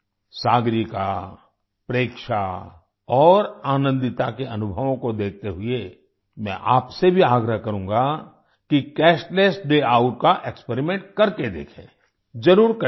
सागरिका प्रेक्षा और आनंदिता के अनुभवों को देखते हुए मैं आपसे भी आग्रह करूँगा कि कैशलेस डे आउट का एक्सपेरिमेंट करके देखें जरुर करें